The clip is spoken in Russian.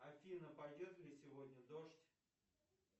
афина пойдет ли сегодня дождь